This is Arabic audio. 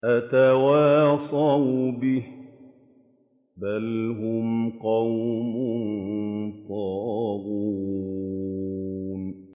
أَتَوَاصَوْا بِهِ ۚ بَلْ هُمْ قَوْمٌ طَاغُونَ